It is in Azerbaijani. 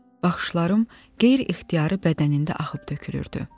Baxışlarım qeyri-ixtiyari bədənində axıb tökülürdü.